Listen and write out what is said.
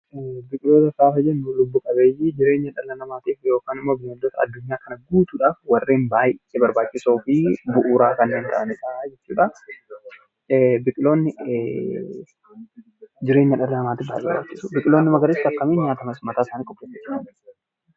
Biqiltoota jechuun wantoota lubbu qabeeyyi lafa kana irraaf warreen baayyee barbaachisoo fi bu'uura warreen ta'aniidha. Biqiloonni kun jireenya dhala namaatiif baayyee barbaachisu.